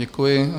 Děkuji.